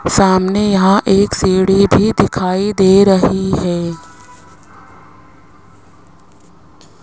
सामने यहां एक सीढ़ी भी दिखाई दे रही है।